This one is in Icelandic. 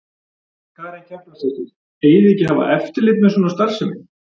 Karen Kjartansdóttir: Eigið þið ekki að hafa eftirlit með svona starfsemi?